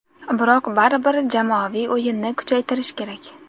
Biroq baribir jamoaviy o‘yinni kuchaytirish kerak.